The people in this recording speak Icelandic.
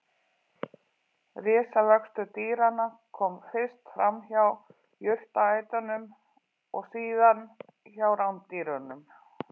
Risavöxtur dýranna kom fyrst fram hjá jurtaætunum og síðan hjá rándýrunum.